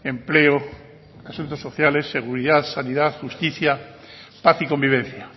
empleo asuntos sociales seguridad sanidad justicia paz y convivencia